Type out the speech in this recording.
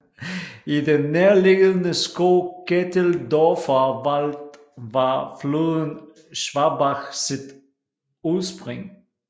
I den nærliggende skov Ketteldorfer Wald har floden Schwabach sit udspring